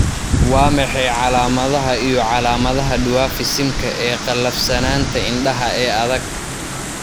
Waa maxay calaamadaha iyo calaamadaha Dwarfism-ka ee qallafsanaanta indhaha ee adag?